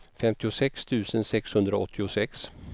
femtiosex tusen sexhundraåttiosex